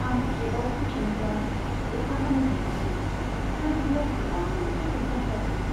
आं केबआव फैफिनोब्ला, अखा हानो हमबायमोन आरो बेयाव गोबां ट्रेफिक जाम जादोंमोन।